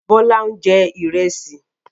Bọ́lá ń jẹ Ìrẹ́sì